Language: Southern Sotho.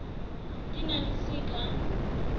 di na le c ka